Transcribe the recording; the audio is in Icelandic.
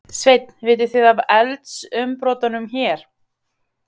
Sveinn: Vitið þið af eldsumbrotunum hér?